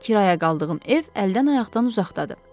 Kirayə qaldığım ev əldən ayaqdan uzaqdadır.